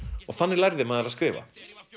og þannig lærði maður að skrifa